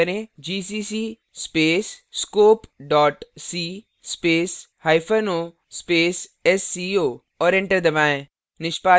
gcc space scopec space hyphen o space sco और enter दबाएँ